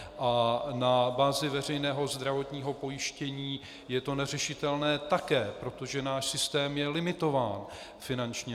A na bázi veřejného zdravotního pojištění je to neřešitelné také, protože náš systém je limitován finančně.